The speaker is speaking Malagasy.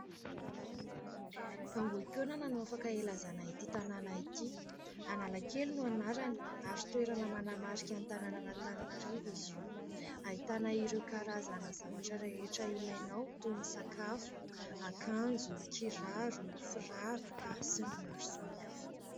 "Ambohimpionana" no afaka ilazana ity tanàna ity."Analakely" no anarany ary toerana manamarika ny tanàn'Antananarivo izy io. Ahitana ireo karazana zavatra rehetra ilainao toy : ny sakafo, akanjo, kiraro, firavaka sy ny maro samihafa.